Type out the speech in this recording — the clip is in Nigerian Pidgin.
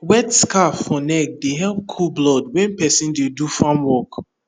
wet scarf for neck dey help cool blood when person dey do farm work